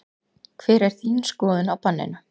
Hver er þín skoðun á banninu?